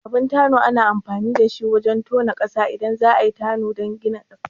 Abin tano ana amfani da shi wajan tonon ƙasa idan za'ayi danga don kare gida